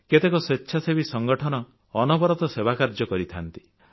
କେତେକ ସ୍ୱେଚ୍ଛାସେବୀ ସଂଗଠନ ଅନବରତ ସେବା କାର୍ଯ୍ୟ କରିଥାନ୍ତି